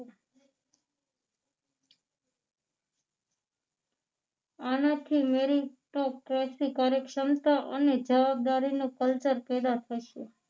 આનાથી મેઈન એકતો ક્રાંતિકારી ક્ષમતા અને જવાબદારી નો કલ્ચર કેળવાશે